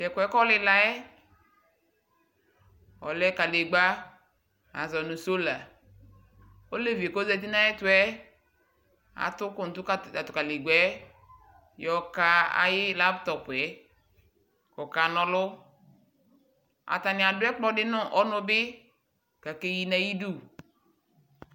Tɛkuɛ kɔlila yɛ, ɔlɛ kalegbaAzɔ nu solaOlevie kozati nayɛtuɛ atʋ uku nʋ atu kalegba yɛ yɔka ayiʋ laptopɛKɔkanɔlʋ Atani adʋ ɛkplɔ di nu ɔnu bi, kakeyi nayidu